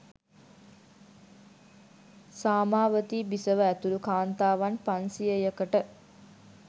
සාමාවතී බිසව ඇතුළු කාන්තාවන් පන්සියයකට